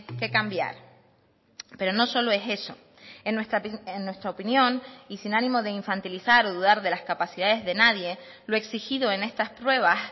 que cambiar pero no solo es eso en nuestra opinión y sin ánimo de infantilizar o dudar de las capacidades de nadie lo exigido en estas pruebas